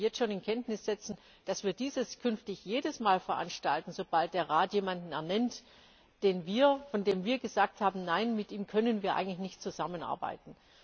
Aber ich möchte Sie jetzt schon davon in Kenntnis setzen, dass wir dies künftig jedes Mal veranstalten, sobald der Rat jemanden ernennt, von dem wir gesagt haben Nein, mit ihm können wir eigentlich nicht zusammenarbeiten.